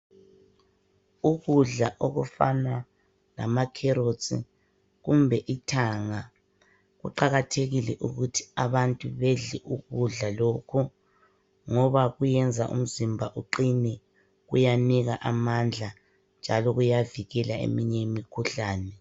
Ukudla okufana lamacarrots kumbe ithanga. Kuqakathekile ukuthi abantu bedle ukudla lokhu ngoba kuyenza umzimba uqine. Kuyanika amandla njalo kuyavikela eminye imikhuhlane.